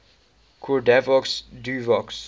cordavox duovox